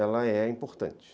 Ela é importante.